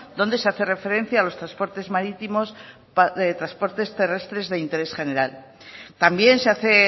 donde se hace referencia a los transportes marítimos transportes terrestres de interés general también se hace